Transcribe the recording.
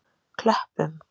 Klöppum